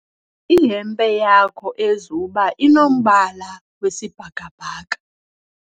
ihempe yakhe ezuba inombala wesibhakabhaka